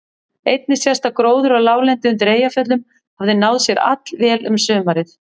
Einnig sést að gróður á láglendi undir Eyjafjöllum hafði náð sér allvel um sumarið.